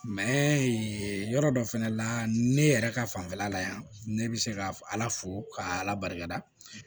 yɔrɔ dɔ fɛnɛ la ne yɛrɛ ka fanfɛla la yan ne bɛ se ka ala fo k'a ala barika